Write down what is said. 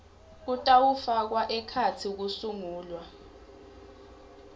kutawufaka ekhatsi kusungulwa